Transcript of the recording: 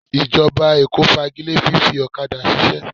Ìjọba Èkó fagile fífi ọ̀kadà ṣiṣẹ́